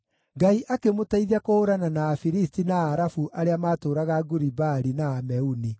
Ngai akĩmũteithia kũhũũrana na Afilisti na Arabu arĩa maatũũraga Guri-Baali na Ameuni.